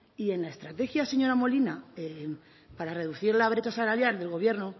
y en la estrategia señora molina para reducir la brecha salarial del gobierno